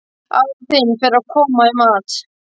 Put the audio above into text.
Afi þinn fer að koma í mat.